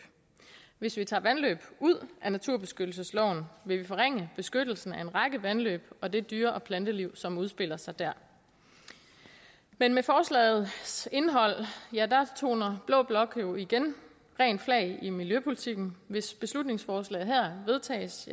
hvis vi tager vandløb ud af naturbeskyttelsesloven vil vi forringe beskyttelsen af en række vandløb og det dyre og planteliv som udfolder sig der men med forslagets indhold toner blå blok jo igen rent flag i miljøpolitikken hvis beslutningsforslaget her vedtages